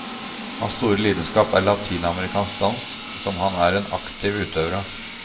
Hans store lidenskap er latinamerikansk dans, som han er en aktiv utøver av.